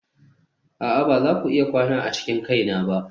a'a ba za ku iya kwana a cikin kaina ba.